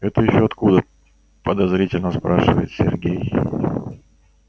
это ещё откуда подозрительно спрашивает сергей